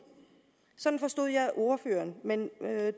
sådan forstod jeg ordføreren men